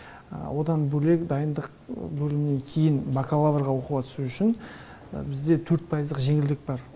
одан бөлек дайындық бөлімінен кейін бакалаврға оқуға түсу үшін бізде төрт пайыздық жеңілдік бар